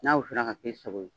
N'a ka finna ka ki sago ye